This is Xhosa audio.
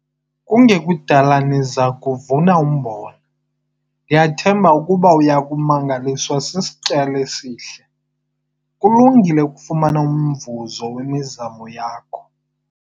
Kungekudala niza kuba nivuna umbona - ndiyathemba ukuba uya kumangaliswa sisityalo esihle - kulungile ukufumana umvuzo wemizamo yakho.